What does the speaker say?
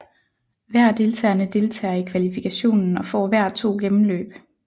Hver af deltagerne deltager i kvalifikationen og får hver to gennemløb